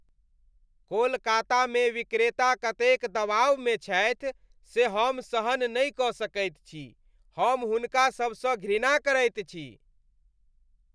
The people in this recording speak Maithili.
कोलकातामे विक्रेता कतेक दबाव मे छथि से हम सहन नहि कऽ सकैत छी। हम हुनका सभसँ घृणा करैत छी।